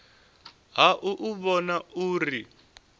ha u u vhona uri